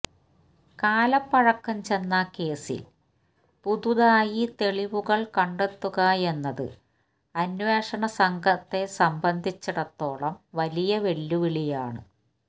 കാലപ്പഴക്കം ചെന്ന കേസിൽ പുതുതായി തെളിവുകൾ കണ്ടെത്തുകയെന്നത് അന്വേഷണസംഘത്തെ സംബന്ധിച്ചിടത്തോളം വലിയ വെല്ലുവിളിയാണ്